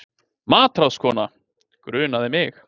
MATRÁÐSKONA: Grunaði mig.